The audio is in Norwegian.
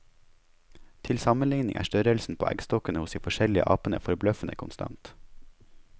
Til sammenligning er størrelsen på eggstokkene hos de forskjellige apene forbløffende konstant.